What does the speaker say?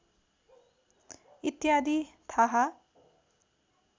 इत्यादि थाहा